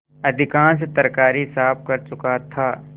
अधिकांश तरकारी साफ कर चुका था